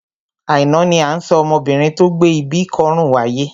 Àìná ni à ń sọ ọmọbinrin tó gbé ibi kọ́rùn wáyé.